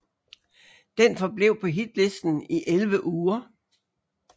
Den forblev på hitlisten i 11 uger